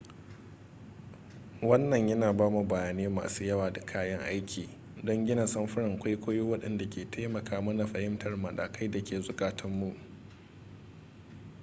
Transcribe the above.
wannan yana ba mu bayanai masu yawa da kayan aiki don gina samfuran kwaikwayo waɗanda ke taimaka mana fahimtar matakai da ke zukatun mu